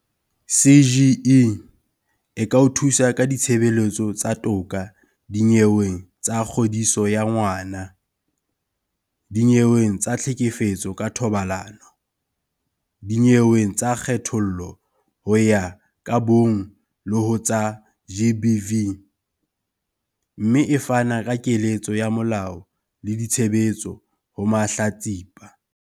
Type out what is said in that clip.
CGE e ka o thusa ka ditshebeletso tsa toka dinyeweng tsa kgodiso ya ngwana, dinyeweng tsa tlhekefetso ka thobalano, dinyeweng tsa kgethollo ho ya ka bong le ho tsa GBV, mme e fana ka keletso ya molao le ditshebeletso ho mahlatsipa.